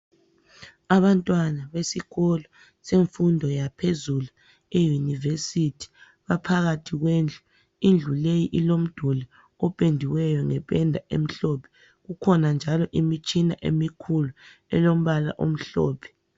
Abantwana besikolo senfundo yaphezulu e university. baphakathi kwendlu ,indlu leyi ilomduli ophendiweyo ngephenda emhlophe. Kukhona njalo imitshina emikhulu elombala omhlophe.